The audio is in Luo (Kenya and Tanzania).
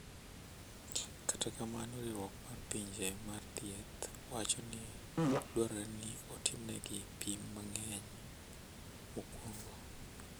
Kata kamano Riwruok mar Pinje mar Thieth wacho ni dwarore ni otimnegi pim mang’eny mokuongo.